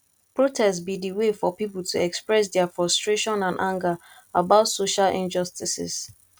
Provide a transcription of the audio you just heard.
protest be di way for people to express dia frustration and anger about social injustices